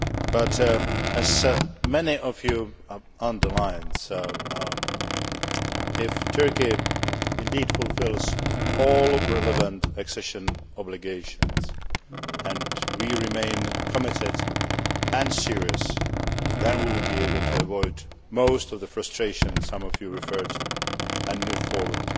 But, as many of you underlined, if Turkey indeed fulfils all relevant accession obligations and we remain committed and serious, then we will be able to avoid most of the frustration some of you referred to and move forward.